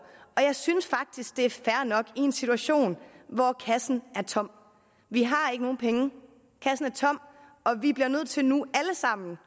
og jeg synes faktisk det er fair nok i en situation hvor kassen er tom vi har ikke nogen penge kassen er tom og vi bliver nødt til nu alle sammen